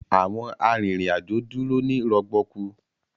Awọn arinrin-ajo dúró ni rọgbọkú.